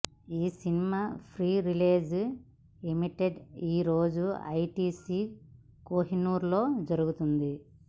ఈ cinema pre release event ఈరోజు ITC Kohinoor లో జరుగుతుంది